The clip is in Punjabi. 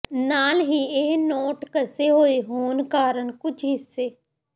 ਨਾਲ ਹੀ ਇਹ ਨੋਟ ਘਸੇ ਹੋਏ ਹੋਣ ਕਾਰਨ ਕੁਝ ਹਿੱਸੇ